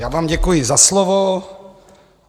Já vám děkuji za slovo.